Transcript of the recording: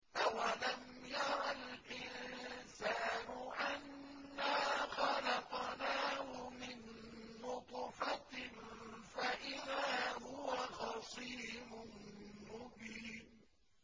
أَوَلَمْ يَرَ الْإِنسَانُ أَنَّا خَلَقْنَاهُ مِن نُّطْفَةٍ فَإِذَا هُوَ خَصِيمٌ مُّبِينٌ